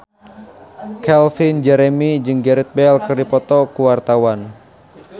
Calvin Jeremy jeung Gareth Bale keur dipoto ku wartawan